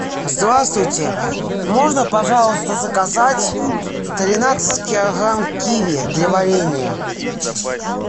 здравствуйте можно пожалуйста заказать тринадцать килограмм киви для варенья